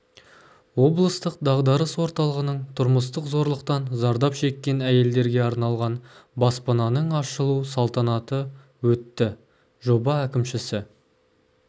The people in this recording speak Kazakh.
облыстық дағдарыс орталығының тұрмыстық зорлықтан зардап шеккен әйелдерге арналған баспананың ашылу салтанаты өтті жоба әкімшісі